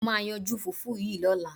Mo máa yanjú fùfú yìí lọ́la.